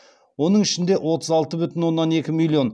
оның ішінде отыз алты бүтін оннан екі миллион